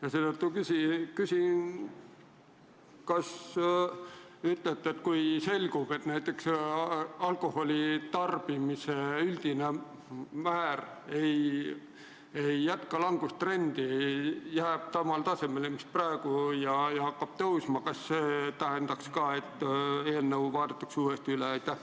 Ja seetõttu ma küsin: kui selgub, et alkoholi tarbimise üldine määr ei jätka langustrendi, jääb samale tasemele või hakkab hoopis tõusma, kas siis seadus vaadatakse uuesti üle?